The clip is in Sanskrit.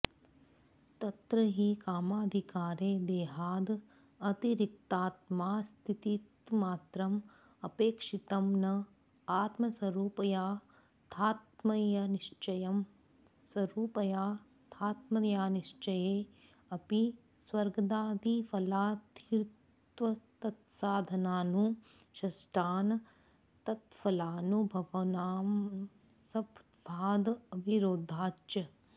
तत्र हि कामाधिकारे देहाद् अतिरिक्तात्मास्तित्वमात्रम् अपेक्षितम् न आत्मस्वरूपयाथात्म्यनिश्चयः स्वरूपयाथात्म्यानिश्चये अपि स्वर्गादिफलार्थित्वतत्साधनानुष्ठान तत्फलानुभवानां संभवाद् अविरोधाच्च